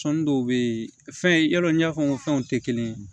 Sɔnni dɔw be ye fɛn i ya dɔn n y'a fɔ n ko fɛnw te kelen ye